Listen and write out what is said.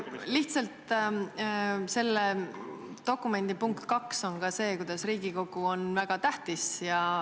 Lihtsalt selle dokumendi punktis 2 on ka see, kuidas Riigikogu on väga tähtis.